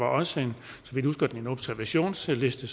også en observationsliste